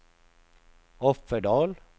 Offerdal